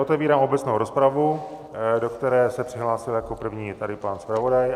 Otevírám obecnou rozpravu, do které se přihlásil jako první tady pan zpravodaj.